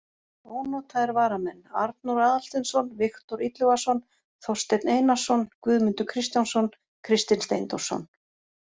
Ónotaðir varamenn: Arnór Aðalsteinsson, Viktor Illugason, Þorsteinn Einarsson, Guðmundur Kristjánsson, Kristinn Steindórsson.